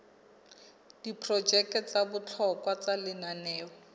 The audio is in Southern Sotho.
diprojeke tsa bohlokwa tsa lenaneo